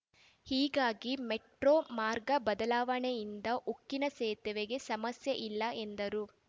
ಹೀಗಾಗಿ ಮೆಟ್ರೋ ಮಾರ್ಗ ಬದಲಾವಣೆಯಿಂದ ಉಕ್ಕಿನ ಸೇತುವೆಗೆ ಸಮಸ್ಯೆ ಇಲ್ಲ ಎಂದರು